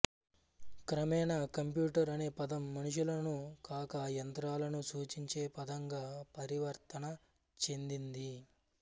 క్రమేణా కంప్యూటర్ అనే పదం మనుషులను కాక యంత్రాలను సూచించే పదంగా పరివర్తన చెందింది